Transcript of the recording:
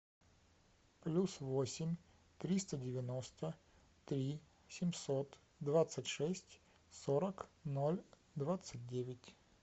плюс восемь триста девяносто три семьсот двадцать шесть сорок ноль двадцать девять